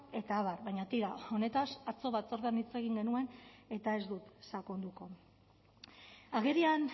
eta abar baina tira honetaz atzo batzordean hitz egin genuen eta ez dut sakonduko agerian